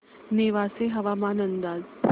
नेवासे हवामान अंदाज